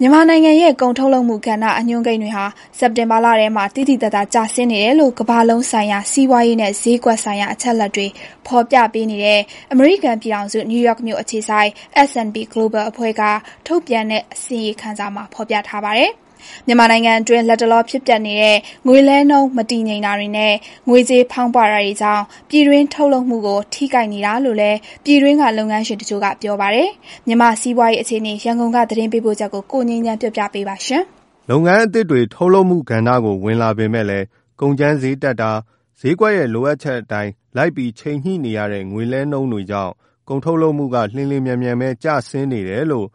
မြန်မာနိုင်ငံရဲ့ကုန်ထုတ်လုပ်မှုကဏ္ဍ အညွှန်းကိန်းတွေဟာ စက်တင်ဘာလထဲမှာ သိသိသာသာပဲကျဆင်းနေတယ်လို့ ကမ္ဘာလုံးဆိုင်ရာစီးပွားရေးနဲ့ ဈေးကွက်ဆိုင် ရာအချက်အလက်တွေ ဖော်ပြပေးနေတဲ့ အမေရိကန်ပြည်ထောင်စု နယူးယော့ခ်မြို့အခြေစိုက် S&P Global အဖွဲ့ကထုတ်ပြန်တဲ့ အစီရင်ခံစာမှာဖေါ်ပြပါတယ်။ မြန်မာနိုင်ငံအတွင်း လတ်တလောဖြစ်ပျက်နေတဲ့ ငွေလဲနှုန်းမတည်ငြိမ်တာတွေနဲ့ ငွေကြေးဖောင်းပွတာတွေကြောင့် ပြည်တွင်းထုတ်လုပ်မှုကို ထိခိုက်နေတာလို့ လည်း ပြည်တွင်းလုပ်ငန်းရှင်တချို့က ပြောပါတယ်။ မြန်မာ့စီးပွားရေးအခြေအနေ သတင်းပေးပို့ချက်ကို ကိုငြိမ်းချမ်းက တင်ပြပေးထားပါတယ်။ လုပ်ငန်းအသစ်တွေ ထုတ်လုပ်မှုကဏ္ဍကို ဝင်လာပေမယ့်လည်း ကုန်ကြမ်းဈေးတက်တာ၊ ဈေးကွက်ရဲ့လိုအပ်ချက်အတိုင်း လိုက်ပြီးချိန်ညှိနေရတဲ့ ငွေလဲနှုန်းတွေကြောင့် ကုန်ထုတ်လုပ်မှုက လျှင်လျှင်မြန်မြန်ပဲ ကျဆင်းနေတယ်လို့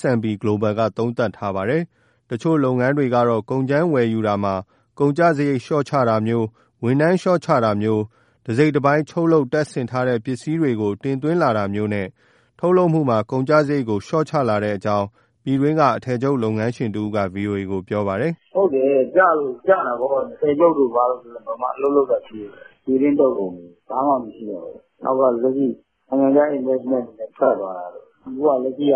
S&P Global က သုံးသပ်ထားပါတယ်။ တချို့လုပ်ငန်းတွေကတော့ ကုန်ကြမ်းဝယ်ယူတာမှာ ကုန်ကျစရိတ်လျှော့ချတာမျိုး၊ ဝန်ထမ်းလျှော့ချတာမျိုး၊ တစိတ်တပိုင်း ချုပ်လုပ်၊ တပ်ဆင်ထားတဲ့ ပစ္စည်းမျိုးတွေကို တင်သွင်းလာတာမျိုးနဲ့ ထုတ်လုပ်မှုမှာ ကုန်ကျ စရိတ်ကို လျှော့ချကြလာတဲ့အကြောင်း ပြည်တွင်းက အထည်ချုပ် လုပ်ငန်းရှင်တဦးကလည်း ဗွီအိုအေကို ပြောပါတယ်။ " ဟုတ်တယ်။ ကျတာပေါ့။ အထည်ချုပ်တို့ ဘာတို့ဆို ဘယ်မှာအလုပ်လုပ်တာ ရှိတော့လို့လဲ၊ ပြည်တွင်းထုတ်ကုန်တွေ ဘာမှမရှိတော့ဘူး။ နောက်က လက်ရှိနိုင်ငံခြား investment တွေလည်း ထွက်သွားတာပဲ။ အခုက လက်ရှိက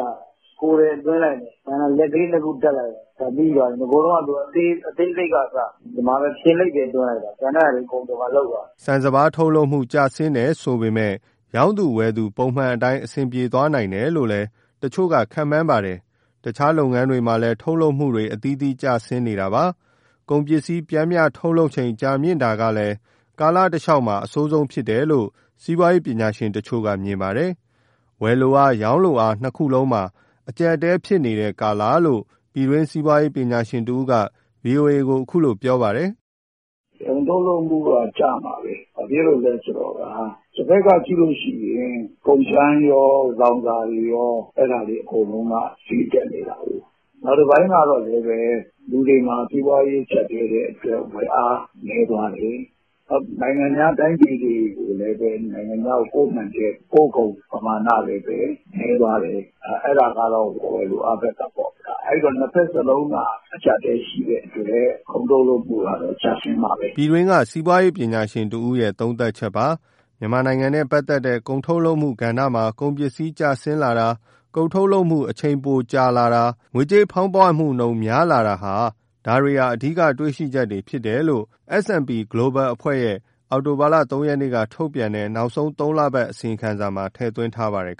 ကိုယ်ထည် သွင်းလိုက်တယ်၊ ကျန်တာ လက်ကလေးတခု တပ်လိုက်တယ်၊ အဲဒါပြီးသွားပြီ။ နဂိုတုန်းကဆို အသေးစိတ်ကအစ ဒီမှဖျင်လိပ်ပဲ သွင်းလိုက်တယ်။ ကျန်တဲ့ဟာတွေ ဒီမှာ အကုန်လုပ်သွားတာ။" ဆန်စပါး ထုတ်လုပ်ရေးမှာ ကျဆင်းတယ်ဆိုပေမယ့် ရောင်းသူ၊ ဝယ်သူ ပုံမှန်အတိုင်း အဆင်ပြေသွားနိုင်တယ်လို့ တချို့ကခန့်မှန်းပါတယ်။ တခြားလုပ်ငန်းတွေမှာလည်း ထုတ်လုပ်မှုတွေ အသီးသီးကျဆင်းနေတာပါ။ ကုန်ပစ္စည်း ပျမ်းမျှထုတ်လုပ်ချိန် ကြာမြင့်လာတာကလည်း ကာလတလျှောက်မှာ အဆိုးဆုံးဖြစ်တယ်လို့ စီးပွားရေးပညာရှင်တချို့က မြင်ပါတယ်။ ဝယ်လိုအား၊ ရောင်းလိုအား နှစ်ခုလုံးမှာ အကျပ်အတည်း ဖြစ်နေတဲ့ကာလလို့ ပြည်တွင်းက စီးပွားရေးပညာရှင်တဦးက ဗွီအိုအေကို ပြောပါတယ်။ " ကုန်ထုတ်လုပ်မှုက ကျမှာပဲ။ ဘာဖြစ်လို့လဲဆိုတော့ တဘက်ကကြည့်လို့ရှိရင် ကုန်ကြမ်းရော၊ လောင်စာတွေရော အဲဒါတွေ အကုန်လုံးက ဈေးတက်နေတာကိုး။ နောက်တပိုင်းကတော့လည်းပဲ လူတွေမှာ စီးပွားရေးကျပ်တည်းတဲ့အတွက် ဝယ်အားနည်းသွားတယ်။ နောက် နိုင်ငံခြား တိုင်းပြည်တွေကိုလည်းပဲ နိုင်ငံခြားကိုပို့နိုင်တဲ့ ပို့ကုန်ပမာဏလည်းပဲ နည်းသွားတယ်။ အဲဒါကတော့ ဝယ်လိုအားဘက် ကပေါ့။ အဲဒီတော့ နှစ်ဘက်စလုံးက အကျပ်အတည်းရှိတဲ့အတွက် ကုန်ထုတ်လုပ်မှုကတော့ ကျဆင်းမှာပဲ။" ပြည်တွင်းက စီးပွားရေးပညာရှင်တဦးရဲ့ သုံးသပ်ချက်ပါ။ မြန်မာနိုင်ငံနဲ့ ပတ်သက် တဲ့ ကုန်ထုတ်လုပ်မှုကဏ္ဍမှာ ကုန်ပစ္စည်း ကျဆင်းလာတာ၊ ကုန်ထုတ်လုပ်မှုအချိန် ပိုကြာမြင့်လာတာ၊ ငွေကြေးဖောင်းပွနှုန်းများလာတာ- ဒါတွေ အဓိကတွေရှိချက်တွေ ဖြစ်တယ်လို့ S&P Global အဖွဲ့ရဲ့ အောက်တိုဘာ ၃ ရက်နေ့ကထုတ်ပြန်တဲ့ နောက်ဆုံး ၃ လပတ် အစီရင်ခံစာမှာ ထည့်သွင်းပါတယ်